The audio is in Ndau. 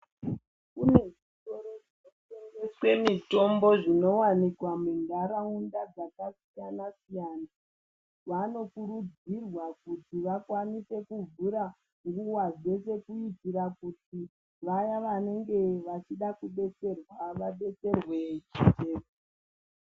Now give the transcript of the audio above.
Kune zvitoro zvinotengeswe mitombo zvinovanikwa munharaunda dzakasiyana-siyana. Vanokurudzirwa kuti vakwanise kuvhura nguva dzeshe kuitira kuti vaya vanenge vachidakubetserwa vabetserwe ne.